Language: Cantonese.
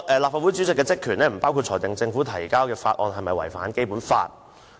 "立法會主席的職權亦不包括裁定政府提交的法案是否違反《基本法》"。